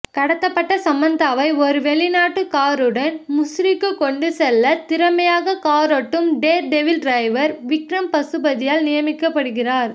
கடத்தப்பட்ட சமந்தாவை ஒரு வெளிநாட்டு காருடன் முசூரிக்கு கொண்டுசெல்ல திறமையாக காரோட்டும் டேர்டெவில் டிரைவர் விக்ரம் பசுபதியால் நியமிக்கப்படுகிறார்